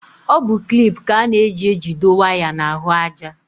Ọ bụ klip ka a na-eji ejido waya n'ahụájá.